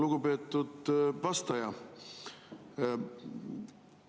Lugupeetud vastaja!